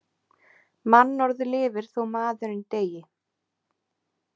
Mannorð lifir þó maðurinn deyi.